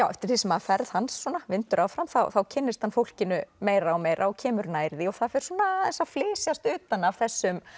eftir því sem ferð hans svona vindur áfram þá kynnist hann fólkinu meira og meira og kemur nær því og það fer svona aðeins að flysjast utan af þessum